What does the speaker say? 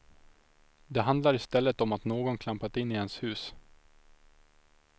Det handlar istället om att någon klampat in i ens hus.